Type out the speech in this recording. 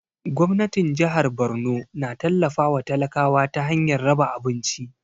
Gwamnatin jahar Borno na tallafa wa talakawa ta hanyar raba abinci